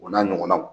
O n'a ɲɔgɔnnaw